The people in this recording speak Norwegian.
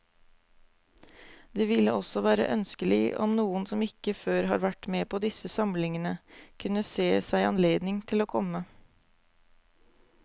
Det ville også være ønskelig om noen som ikke før har vært med på disse samlingene, kunne se seg anledning til å komme.